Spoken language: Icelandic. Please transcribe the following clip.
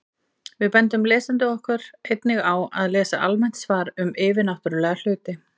Við bendum lesendum okkar einnig á að lesa almennt svar um yfirnáttúrulega hluti.